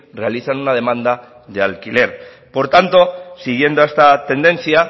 realizan una demanda de alquiler por tanto siguiendo esta tendencia